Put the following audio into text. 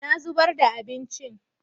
Na zubar ba abincin.